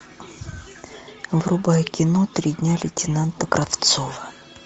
врубай кино три дня лейтенанта кравцова